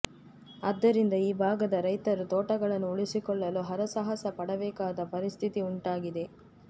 ಅದ್ದರಿಂದ ಈ ಭಾಗದ ರೈತರು ತೋಟಗಳನ್ನು ಉಳಿಸಿಕೊಳ್ಳಲು ಹರ ಸಾಹಸ ಪಡಬೇಕಾದ ಪರಿಸ್ಥಿತಿ ಉಂಟಾಗಿದೆ